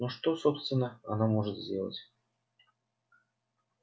но что собственно она может сделать